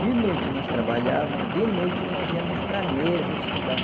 De noite nós trabalhávamos, de noite nós íamos para a mesa estudar.